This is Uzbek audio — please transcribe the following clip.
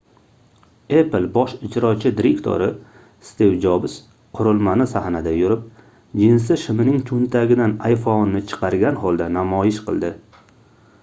apple bosh ijrochi direktori stiv jobs qurilmani sahnada yurib jinsi shimining choʻntagidan iphoneʼni chiqargan holda namoyish qildi